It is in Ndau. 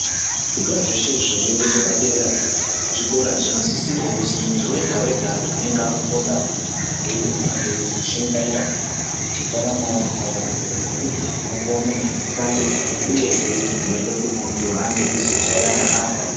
Zvikora zveshe zviringechepadera zvikora zvinosisirwa kuzwi muntu wega wega anengeafundayo ange eizoshingaira ngendaramo yakona ngekuti ndiko kunopuwa munhu mushando uyehe kuti muntu ange achizojairana neamweni.